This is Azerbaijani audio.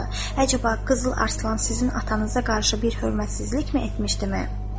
Əcəba, Qızıl Arslan sizin atanıza qarşı bir hörmətsizlikmi etmişdi mə?